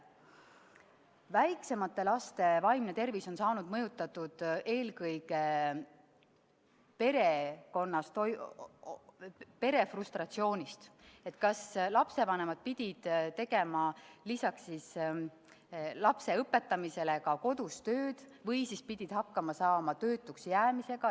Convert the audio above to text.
Väiksemate laste vaimset tervist on mõjutanud eelkõige perekonna frustratsioonis – kas lapsevanemad pidid lisaks lapse õpetamisele tegema ka kodus tööd või siis pidid hakkama saama töötuks jäämisega.